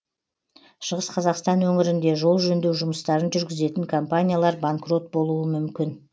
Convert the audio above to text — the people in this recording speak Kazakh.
шығыс қазақстан өңірінде жол жөндеу жұмыстарын жүргізетін компаниялар банкрот болуы мүмкін